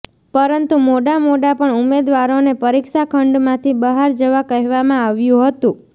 પરંતુ મોડામોડા પણ ઉમેદવારોને પરીક્ષાખંડમાંથી બહાર જવા કહેવામાં આવ્યું હતું